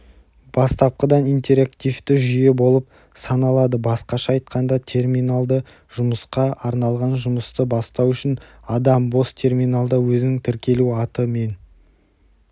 бастапқыдан интерактивті жүйе болып саналадыбасқаша айтқанда терминалды жұмысқа арналғанжұмысты бастау үшін адам бос терминалда өзінің тіркелу аты мен